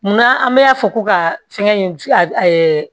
Munna an bɛ a fɔ ko ka fɛngɛ in a